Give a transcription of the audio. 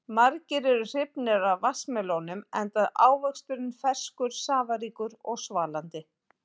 Margir eru hrifnir af vatnsmelónum enda ávöxturinn ferskur, safaríkur og svalandi.